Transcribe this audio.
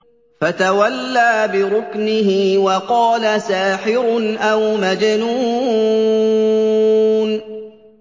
فَتَوَلَّىٰ بِرُكْنِهِ وَقَالَ سَاحِرٌ أَوْ مَجْنُونٌ